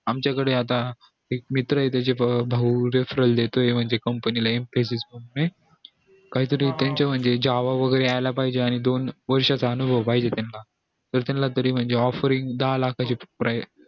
आमच्या कडे आता एक मित्र ये त्याचा भाऊ आता referral देतो ये company ला एमसीस काही तरी त्यांचं म्हणजे java वैगेरे यायला पाहिजे आणि दोन वर्षचा अनुभव पाहिजे त्याना त्यानला तरी offering दहा लाखा ची price